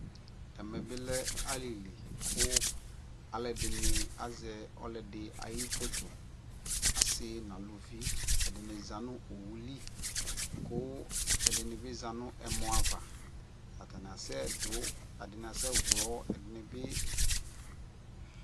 ɛmɛ bi lɛ alili kʋ alʋɛdini azɛ ɔlʋɛdi ayi phɔtɔ, asii nʋ alʋvi, ɛdini zanʋ ɔwʋli kʋ ɛdini bi zanʋ ɛmɔ aɣa atani asɛ dʋ, ɛdini asɛ wlɔ, ɛdinibi